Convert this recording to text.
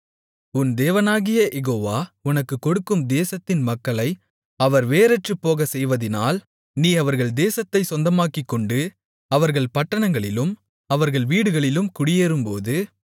உன் தேவனாகிய யெகோவா உனக்குக் கொடுக்கும் தேசத்தின் மக்களை அவர் வேரற்றுப்போகச்செய்வதினால் நீ அவர்கள் தேசத்தைச் சொந்தமாக்கிக்கொண்டு அவர்கள் பட்டணங்களிலும் அவர்கள் வீடுகளிலும் குடியேறும்போது